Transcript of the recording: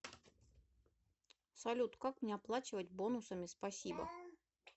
салют как мне оплачивать бонусами спасибо